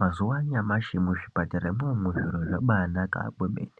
Mazuwa anyamashi muzvipatara mwo umumu zviro zvabaanaka maningi